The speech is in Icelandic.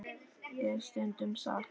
. er stundum sagt.